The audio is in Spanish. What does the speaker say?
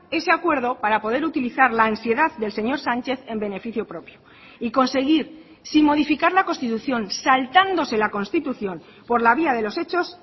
ese acuerdo para poder utilizar la ansiedad del señor sánchez en beneficio propio y conseguir sin modificar la constitución saltándose la constitución por la vía de los hechos